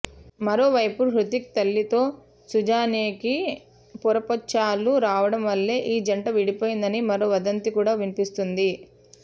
మరోవైపు హృతిక్ తల్లితో సుజానేకి పొరపొచ్చాలు రావడం వల్లే ఈ జంట విడిపోయిందని మరో వదంతి కూడా వినిపిస్తోంది